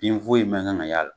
Bin foyi man kan ka y'a la.